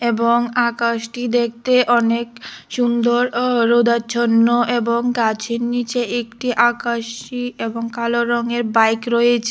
এবং আকাশটি দেখতে অনেক সুন্দর অ রোদাচ্ছন্ন এবং গাছের নীচে একটি আকাশী এবং কালো রঙের বাইক রয়েছে।